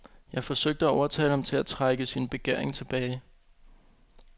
Jeg forsøgte at overtale ham til at trække sin begæring tilbage.